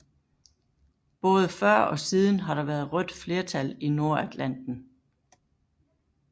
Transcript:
Både før og siden har der været rødt flertal i Nordatlanten